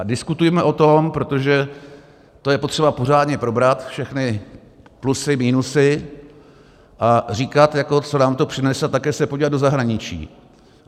A diskutujme o tom, protože to je potřeba pořádně probrat, všechny plusy, minusy, a říkat, co nám to přinese, a také se podívat do zahraničí.